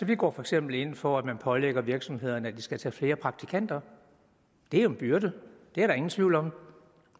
vi går for eksempel ind for at man pålægger virksomhederne at de skal tage flere praktikanter det er jo en byrde det er der ingen tvivl om